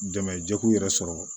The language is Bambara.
Dɛmɛjɛkulu yɛrɛ sɔrɔ